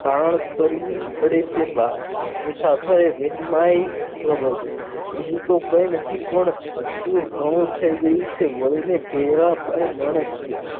કરવી પડે છે બા મુસાફરે વહેમાઈ જઈને બીજું તો કંઈ નથી પણ હસવું ઘણું થઈ ગયું છે તે પણ માણસ છે